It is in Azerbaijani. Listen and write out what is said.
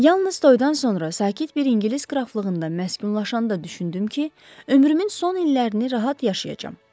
Yalnız toyduan sonra sakit bir ingilis qraflığında məskunlaşanda düşündüm ki, ömrümün son illərini rahat yaşayacam.